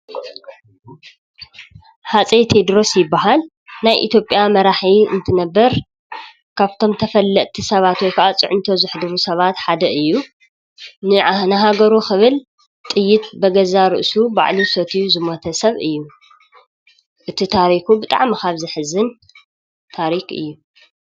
ሃፀይ ቴድሮስ ይብሃል። ናይ ኢትዮጵያ መራሒ እንትነብር ካብቶም ተፈለጥቲ ሰባት ወይ ከዓ ፅዕንቶ ዘሕድሩ ሰባት ሓደ እዩ ::ንሃገሩ ክብል ጥይት ብገዛእ ርእሱ ባዕሉ ሰትዩ ዝሞተ ሰብ እዩ:: እቲ ታሪኩ ብጣዕሚ ካብ ዘሕዝን ታሪክ እዩ::